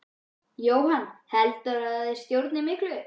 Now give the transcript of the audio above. Jóhann: Heldurðu að þeir stjórni miklu?